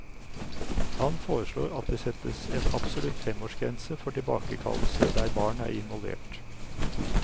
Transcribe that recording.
Han foreslår at det settes en absolutt femårsgrense for tilbakekallelse der barn er involvert.